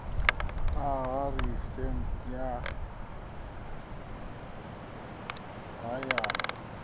ha aḓirese ya haya na